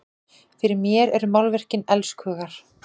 Fyrir mér eru málverkin elskhugar!